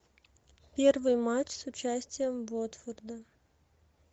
первый матч с участием уотфорда